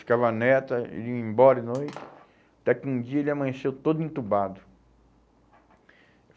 Ficava neta, ia embora de noite, até que um dia ele amanheceu todo entubado.